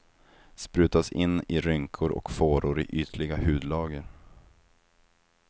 Sprutas in i rynkor och fåror i ytliga hudlager.